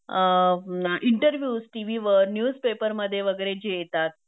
अ interviews TV वर news पपेरमध्ये वगैरे जे येतात